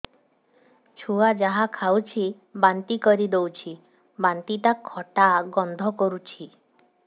ଛୁଆ ଯାହା ଖାଉଛି ବାନ୍ତି କରିଦଉଛି ବାନ୍ତି ଟା ଖଟା ଗନ୍ଧ କରୁଛି